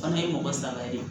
Fana ye mɔgɔ saba de ye